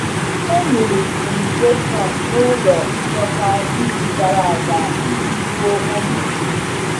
E mere fumigation n’ụlọ nchekwa izu gara aga iji gbuo ụmụ ahụhụ.